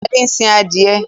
Adé ń sin adìẹ.